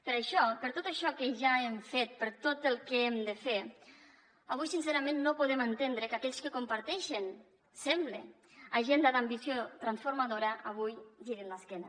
per això per tot això que ja hem fet per tot el que hem de fer avui sincerament no podem entendre que aquells que comparteixen sembla agenda d’ambició transformadora avui girin l’esquena